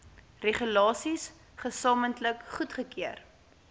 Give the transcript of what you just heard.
regulasies gesamentlik goedgekeur